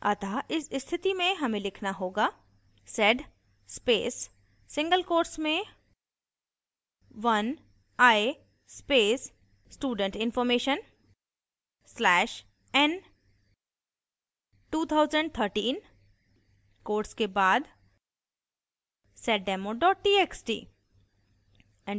अतः इस स्थिति में हमें लिखना होगा: